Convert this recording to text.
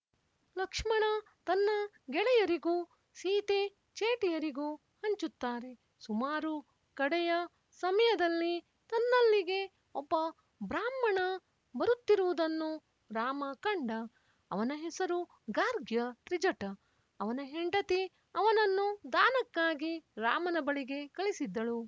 ಲಕ್ಷ್ಮಣ ತನ್ನ ಗೆಳೆಯರಿಗೂ ಸೀತೆ ಚೇಟಿಯರಿಗೂ ಹಂಚುತ್ತಾರೆ ಸುಮಾರು ಕಡೆಯ ಸಮಯದಲ್ಲಿ ತನ್ನಲ್ಲಿಗೆ ಒಬ್ಬ ಬ್ರಾಹ್ಮಣ ಬರುತ್ತಿರುವುದನ್ನು ರಾಮ ಕಂಡ ಅವನ ಹೆಸರು ಗಾರ್ಗ್ಯ ತ್ರಿಜಟ ಅವನ ಹೆಂಡತಿ ಅವನನ್ನು ದಾನಕ್ಕಾಗಿ ರಾಮನ ಬಳಿಗೆ ಕಳಿಸಿದ್ದಳು